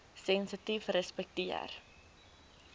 sensitiefrespekteer